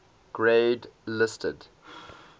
grade listed